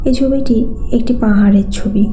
এই ছবিটি একটি পাহাড়ের ছবি।